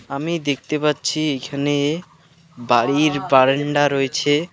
আমি দেখতে পাচ্ছি এইখানে বাড়ির বারান্ডা রয়েছে।